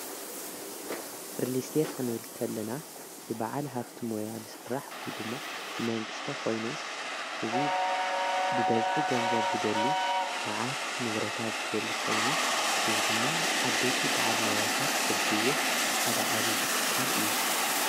ርሊስት ኽንብልከለና ብበዓል ሃፍቲ መያል ሠራሕ ወይ ድማ ብመንግሥቶ ኾይኑ እዝ ብበዝሒ ገንዘብ ዝደሊ መዓት ንብረታት ዝደሊ ኾይኑ ንዝ ድማ ኣበይቲ በዕል መያታት ዘልይዎ ሓደ ዓብዪ ትካል እዩ።